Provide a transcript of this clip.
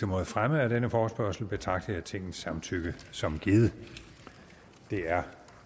mod fremme af denne forespørgsel betragter jeg tingets samtykke som givet det er